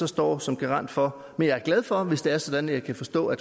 står som garant for men jeg er glad for hvis det er sådan at jeg kan forstå at